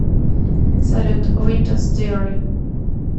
салют винтерс диари